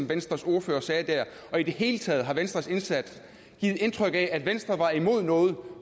venstres ordfører sagde der og i det hele taget har venstres indsats givet indtryk af at venstre var imod noget